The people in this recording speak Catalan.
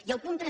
i el punt tres